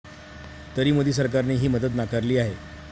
तरी मोदी सरकारने ही मदत नाकारली आहे.